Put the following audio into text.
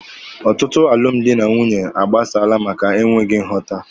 Ọtụtụ alụmdi na nwunye agbasaala maka enweghị nghọta.